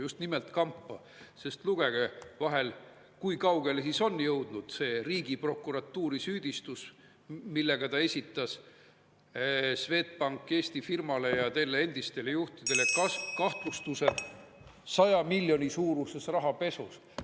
Just nimelt kampa, sest lugege vahel, kui kaugele on jõudnud see riigiprokuratuuri süüdistus, millega ta esitas Swedbank Eesti firmale ja selle endistele juhtidele kahtlustuse 100 miljoni suuruses rahapesus.